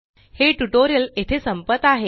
हे ट्यूटोरियल येथे संपत आहे